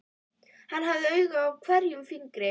Hann hafði auga á hverjum fingri.